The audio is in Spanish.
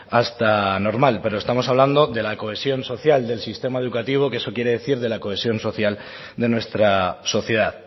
hasta normal pero estamos hablando de la cohesión social del sistema educativo que eso quiere decir de la cohesión social de nuestra sociedad